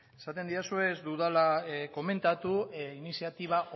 esaten didazue ez dudala komentatu iniziatiba